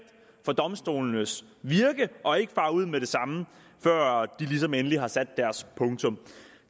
for domstolenes virke og ikke fare ud med det samme før de ligesom endeligt har sat deres punktum